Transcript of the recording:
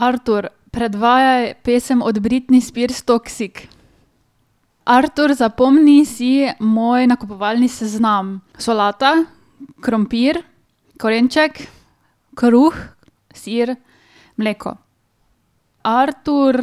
Artur, predvajaj pesem od Britney Spears Toxic. Artur, zapomni si moj nakupovalni seznam. Solata, krompir, korenček, kruh, sir, mleko. Artur,